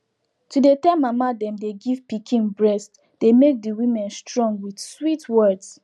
to dey tell mama them dey give pikin breast dey make the women strong with sweet words